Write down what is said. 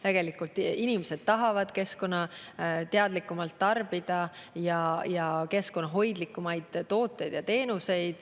Tegelikult inimesed tahavad keskkonnateadlikumalt tarbida, keskkonnahoidlikumaid tooteid ja teenuseid.